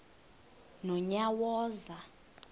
nonyawoza